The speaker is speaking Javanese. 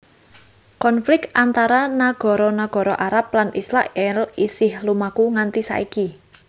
Konflik antara nagara nagara Arab lan Israèl isih lumaku nganti saiki